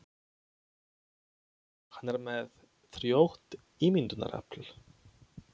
Hann er með frjótt ímyndunarafl.